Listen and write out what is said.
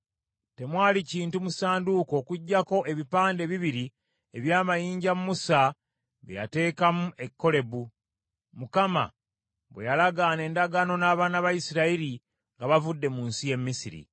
Temwali kintu mu ssanduuko okuggyako ebipande ebibiri eby’amayinja Musa bye yateekamu e Kolebu, Mukama bwe yalagaana endagaano n’abaana ba Isirayiri, nga bavudde mu nsi y’e Misiri.